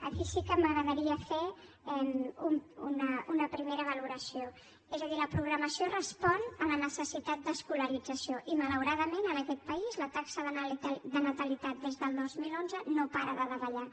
aquí sí que m’agradaria fer una primera valoració és a dir la programació respon a la necessitat d’escolarització i malauradament en aquest país la taxa de natalitat des del dos mil onze no para de davallar